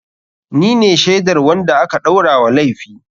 Ni ne shaidar wanda aka ɗaura wa laifi.